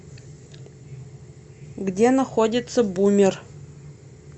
где находится бумер